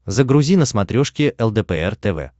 загрузи на смотрешке лдпр тв